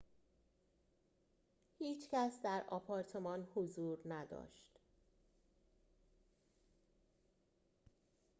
هیچ کس در آپارتمان حضور نداشت